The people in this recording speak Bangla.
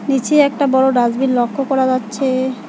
নিচে একটা বড় ডাস্টবিন লক্ষ্য করা যাচ্ছে।